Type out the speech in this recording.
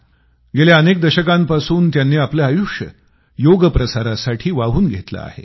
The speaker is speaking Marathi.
गेल्या अनेक दशकांपासून त्यांनी आपलं आयुष्य योग प्रसारासाठी वाहून घेतलंय